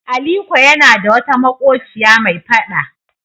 Aliko yana da wata maƙociya mai faɗa.